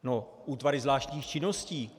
No, útvary zvláštních činností.